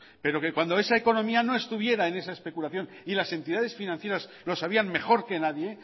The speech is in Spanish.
pero que cuando esa economía no estuviera en esa especulación y las entidades financieras lo sabían mejor que nadie